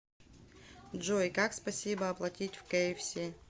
джой как спасибо оплатить в кфс